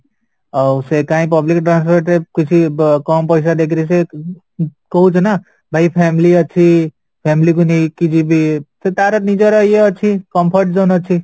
ଆଉ ସେ କାଇଁ public transport ରେ କିଛି କମ ପଇସା ଦେଇକିରି ସେ ଉଁ କହୁଛି ନା ଭାଇ family ଅଛି family କୁ ନେଇକି ଯିବି ସେ ତାର ନିଜର ଇଏ ଅଛି comfort zone ଅଛି